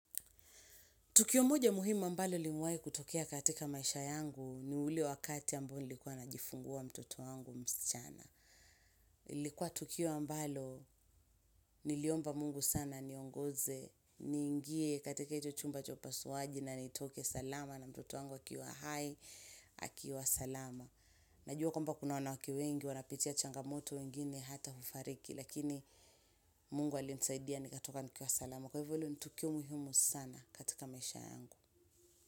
Tukio moja muhimu ambalo limewahi kutokea katika maisha yangu ni ule wakati ambao nilikuwa najifungua mtoto wangu msichana. Ilikuwa tukio ambalo niliomba mungu sana aniongoze, niingie katika hicho chumba cha upasuaji na nitoke salama na mtoto wangu akiwa hai, akiwa salama. Najua kwamba kuna wanawake wengi, wanapitia changamoto wengine hata hufariki lakini mungu alinisaidia nikatoka nikiwa salama. Kwa hivyo hilo ni tukio muhimu sana katika maisha yangu.